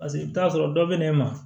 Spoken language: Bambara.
Paseke i bi t'a sɔrɔ dɔ bɛ ne ma